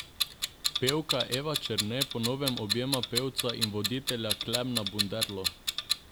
Pevka Eva Černe po novem objema pevca in voditelja Klemena Bunderlo!